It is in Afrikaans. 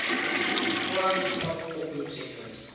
crime stop oproepsentrums